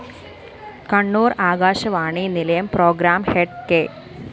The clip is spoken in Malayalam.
കണ്ണൂര്‍ ആകാശവാണി നിലയം പ്രോഗ്രാം ഹെഡ്‌ കെ